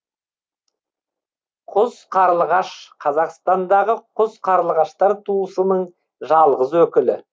құз қарлығаш қазақстандағы құз қарлығаштар туысының жалғыз өкілі